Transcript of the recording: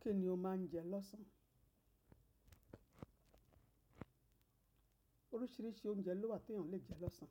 Kí ni o máa ń jẹ lọ́sàn? Oríṣiríṣi oúnjẹ ló wà tí èèyàn lè jẹ lọ́sàn.